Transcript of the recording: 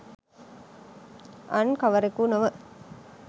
අන් කවරෙකු නොව